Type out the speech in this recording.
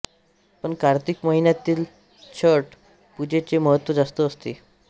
पण कार्तिक महिन्यातील छट पूजेचे महत्त्व जास्त असते